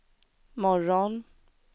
morgon